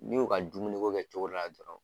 N'i y'u ka dumuni ko kɛ cogo dɔ la dɔrɔn